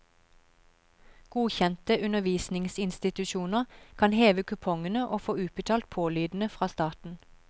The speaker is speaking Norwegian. Godkjente undervisningsinstitusjoner kan heve kupongene og få utbetalt pålydende fra staten.